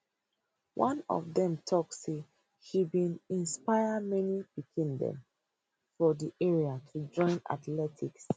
one of dem tok say she bin inspire many pikin dem for di area to join athletics